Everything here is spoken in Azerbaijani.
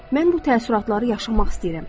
Mən bu təəssüratları yaşamaq istəyirəm.